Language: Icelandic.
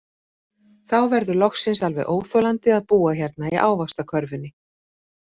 Þá verður loksins alveg óþolandi að búa hérna í ávaxtakörfunni.